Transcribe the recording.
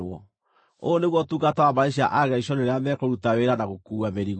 “Ũyũ nĩguo ũtungata wa mbarĩ cia Agerishoni rĩrĩa mekũruta wĩra na gũkuua mĩrigo: